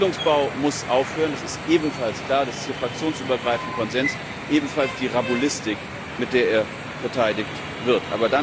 Der Siedlungsbau muss aufhören, das ist ebenfalls klar, das ist hier fraktionsübergreifend Konsens, ebenfalls die Rabulistik, mit der er verteidigt wird.